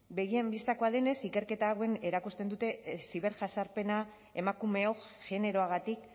begien bistakoa denez ikerketa hauek erakusten dute ziberjazarpena emakumeok generoagatik